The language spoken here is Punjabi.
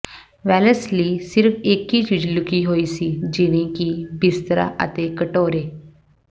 ਵੈਲਸ ਲਈ ਸਿਰਫ ਇਕ ਹੀ ਚੀਜ਼ ਲੁਕੀ ਹੋਈ ਸੀ ਜਿਵੇਂ ਕਿ ਬਿਸਤਰਾ ਅਤੇ ਕਟੋਰੇ